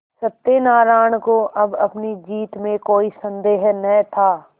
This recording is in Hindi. सत्यनाराण को अब अपनी जीत में कोई सन्देह न था